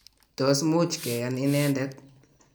tos much keyan inendet?